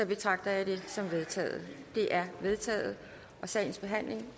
betragter jeg det som vedtaget det er vedtaget sagens behandling